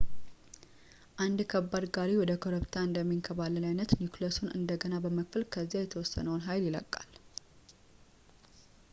አንድ ከባድ ጋሪ ወደ ኮረብታ እንደሚንከባለል ዓይነት ኒውክሊየሱን እንደገና በመክፈል ከዚያ የተወሰነውን ኃይል ይለቀቃል